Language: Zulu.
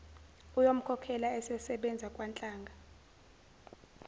uyomkhokhela esesebenza kwanhlanga